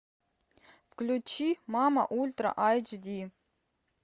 включи мама ультра айч ди